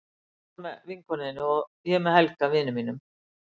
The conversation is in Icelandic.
Þú varst þar með vinkonu þinni og ég með Helga, vini mínum.